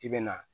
I bɛ na